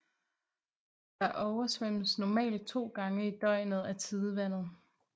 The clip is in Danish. Der oversvømmes normalt to gange i døgnet af tidevandet